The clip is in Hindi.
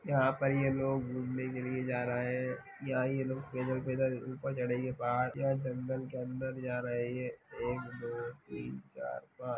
यहाँ पर ये लोग घूमने के लिए जा रहे हैं। यहाँ ये लोग पैदल-पैदल ऊपर चढ़ेंगे पहाड़ या जंगल के अंदर जा रहे हैं एक दो तीन चार पांच --